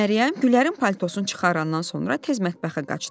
Məryəm Güllərin paltosunu çıxarandan sonra tez mətbəxə qaçdı.